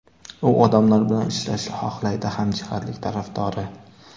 U odamlar bilan ishlashni xohlaydi, hamjihatlik tarafdori.